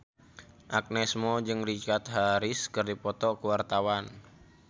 Agnes Mo jeung Richard Harris keur dipoto ku wartawan